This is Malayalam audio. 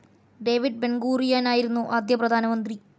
ഡേവിഡ് ബെൻഗൂറിയാനായിരുന്നു ആദ്യ പ്രധാനമന്ത്രി.